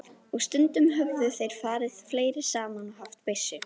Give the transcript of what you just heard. Og stundum höfðu þeir farið fleiri saman og haft byssu.